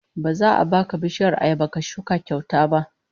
Ba za a baka bishiyar ayaba ka shuka kyauta ba